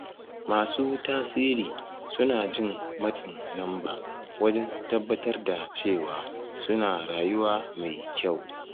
Masu tasiri suna jin matsin lamba wajen tabbatar da cewa suna rayuwa mai kyau